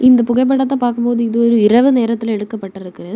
இந்த புகைப்படத்தை பார்க்கும்போது இது ஒரு இரவு நேரத்துல எடுக்கப்பட்ருக்கு.